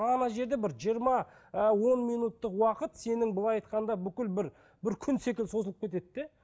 ана жерде бір жиырма ы он минуттық уақыт сенің былай айтқанда бүкіл бір бір күн секілді созылып кетеді де